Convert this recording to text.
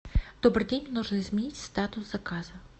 добрый день нужно изменить статус заказа